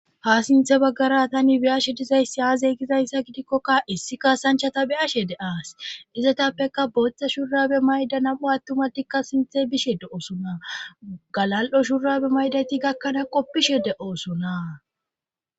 Ha sinthe baggara tani biyashe dizayssi aaze gizayssa gidikkokka issi kaasanchata bi ashe de aas izetappeka booththa shurabe mayda nam'u attumatikka sinthe bishe de'osona galal'o shurabe maydayti gakkanaa qoppishe de'osona. .